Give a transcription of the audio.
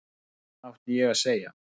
Hvað átti ég að segja?